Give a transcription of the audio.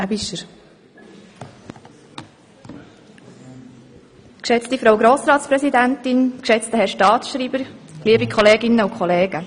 Ansonsten sind wir mit dem Regierungsantrag einverstanden.